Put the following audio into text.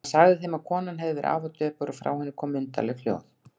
Hann sagði þeim að konan hefði verið afar döpur og frá henni komið undarleg hljóð.